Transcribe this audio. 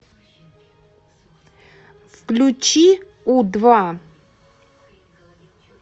включи у два